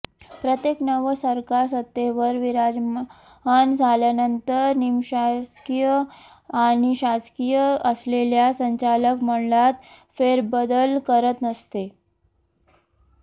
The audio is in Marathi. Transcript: प्रत्येक नवं सरकार सत्तेवर विराजमान झाल्यानंतर निमशासकीय आणि शासकीय असलेल्या संचालक मंडळात फेरबदल करत असते